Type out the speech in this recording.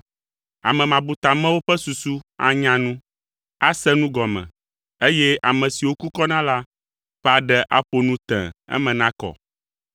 Ame mabutamewo ƒe susu anya nu, ase nu gɔme, eye ame siwo kukɔna la ƒe aɖe aƒo nu tẽe eme nakɔ.